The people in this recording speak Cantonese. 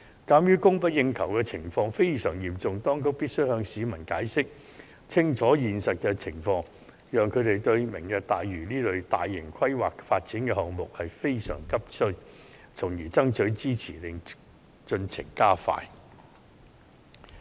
鑒於供不應求的情況非常嚴重，當局必須向市民解釋清楚現實情況，讓他們明白本港急需"明日大嶼"這類大型規劃發展項目，從而爭取支持，加快落實進程。